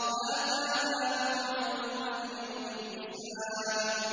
هَٰذَا مَا تُوعَدُونَ لِيَوْمِ الْحِسَابِ